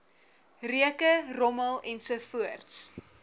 reuke rommel ensovoorts